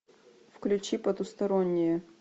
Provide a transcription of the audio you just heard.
включи потусторонние